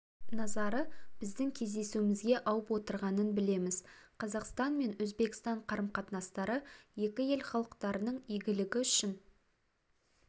назары біздің кездесуімізге ауып отырғанын білеміз қазақстан мен өзбекстан қарым-қатынастары екі ел халықтарының игілігі үшін